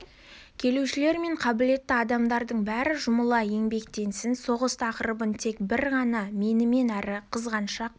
келушілер мен қабілетті адамдардың бәрі жұмыла еңбекетсін соғыс тақырыбын тек бір ғана менмен әрі қызғаншақ